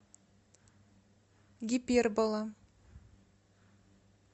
гипербола